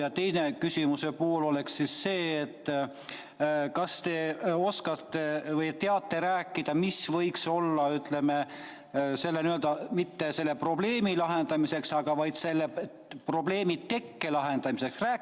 Ja küsimuse teine pool on see: kas te oskate või teate rääkida, mida võiks teha mitte selle probleemi lahendamiseks, vaid selle probleemi tekkepõhjuse lahendamiseks?